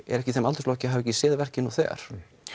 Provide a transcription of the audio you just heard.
eru ekki í þeim aldursflokki að hafa ekki séð verkið nú þegar